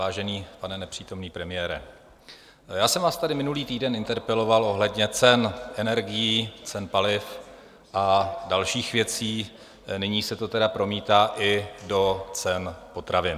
Vážený pane nepřítomný premiére, já jsem vás tady minulý týden interpeloval ohledně cen energií, cen paliv a dalších věcí, nyní se to tedy promítá i do cen potravin.